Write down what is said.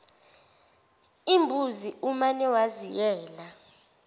imbuzi umane waziyela